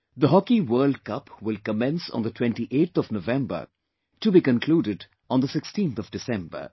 The Hockey World Cup will commence on the 28th November to be concluded on the 16th December